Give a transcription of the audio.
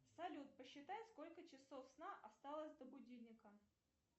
салют посчитай сколько часов сна осталось до будильника